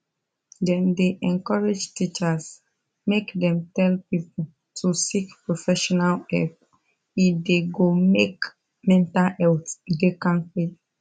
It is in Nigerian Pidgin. dem dey encourage teachers make dem tell people to seek professional help e da go make mental health da kampe